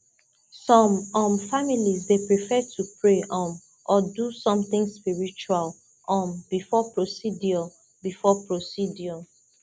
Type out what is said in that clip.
some um families dey prefer to pray um or do something spiritual um before procedure before procedure